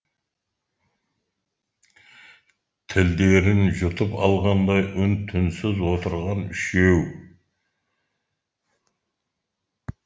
тілдерін жұтып алғандай үн түнсіз отырған үшеу